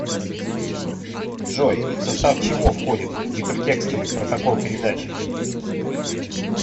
джой в состав чего входит гипертекстовый протокол передачи